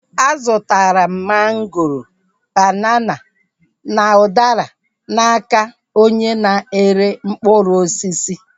A zụtara m mangoro, banana, na udara n'aka onye na-ere mkpụrụ osisi